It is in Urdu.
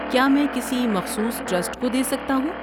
کیا میں کسی مخصوص ٹرسٹ کو دے سکتا ہوں؟